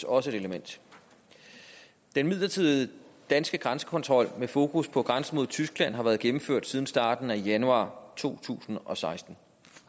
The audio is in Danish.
også et element den midlertidige danske grænsekontrol med fokus på grænsen mod tyskland har været gennemført siden starten af januar to tusind og seksten